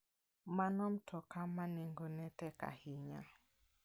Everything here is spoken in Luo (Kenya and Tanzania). Mano mtoka ma nengone tek ahinya.